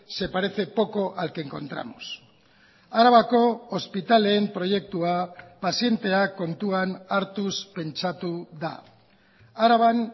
se parece poco al que encontramos arabako ospitaleen proiektua pazientea kontuan hartuz pentsatu da araban